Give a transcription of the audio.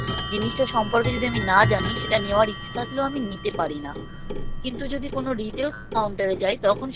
জিনিসটা সম্পর্কে যদি আমি না জানি সেটা নেওয়ার ইচ্ছে থাকলেও আমি নিতে পারি না কিন্তু যদি কোনো retail counter এ যাই তখন